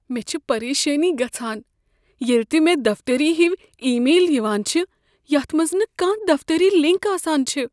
مےٚ چھ پریشٲنی گژھان ییلِہ تِہ مےٚ دفتری ہوۍ ای۔ میل یوان چھ یتھ منز نہٕ کانہہ دفتری لِنک آسان چھ۔